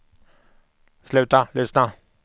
sluta lyssna